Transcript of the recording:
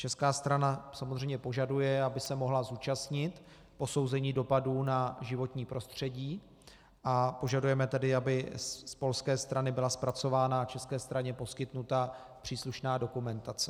Česká strana samozřejmě požaduje, aby se mohla zúčastnit posouzení dopadů na životní prostředí, a požadujeme tedy, aby z polské strany byla zpracována a české straně poskytnuta příslušná dokumentace.